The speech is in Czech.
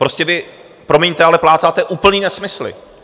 Prostě vy, promiňte, ale plácáte úplný nesmysly!